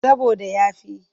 Saboda ya fi.